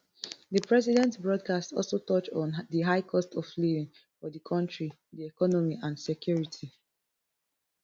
di president broadcast also touch on di high cost of living for di kontri di economy and security